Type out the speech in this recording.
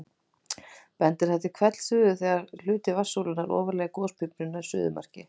Bendir það til hvellsuðu þegar hluti vatnssúlunnar ofarlega í gospípunni nær suðumarki.